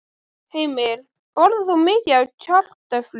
Heimir: Borðar þú mikið af kartöflum?